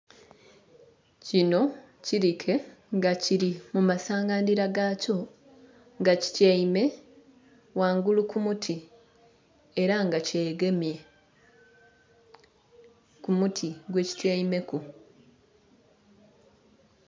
Kino kirike nga kiri mu masangandhira gakyo nga kityaime ghangulu ku muti era nga kyegemye ku muti gwekityaimeku.